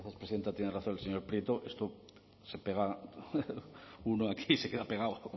presidenta tiene razón el señor prieto esto se pega uno aquí se queda pegado